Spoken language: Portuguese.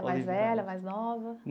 É mais velha, mais nova?